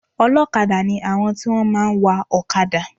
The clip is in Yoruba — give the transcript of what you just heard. Olókadá ni àwọn tí wọ́n máa ń wa òkadà